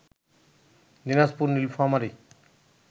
Dinajpur, Nilphamari